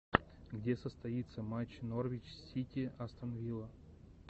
где состоится матч норвич сити астон вилла